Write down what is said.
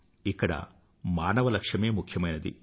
ఇక్కడ మానవ లక్ష్యమే ముఖ్యమైనది